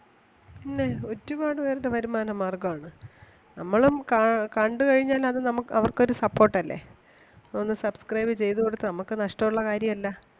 പിന്നേ ഒരുപാട് പേരുടെ വരുമാന മാർഗം ആണ്. നമ്മളും കാ കണ്ട് കഴിഞ്ഞാൽ അത് നമ്മുക്ക് അവർക്ക് ഒരു support അല്ലേ. ഒന്ന് subscribe ചെയ്‌ത്‌ കൊടുത്താ നമുക്ക് നഷ്ടം ഒള്ള കാര്യം അല്ല.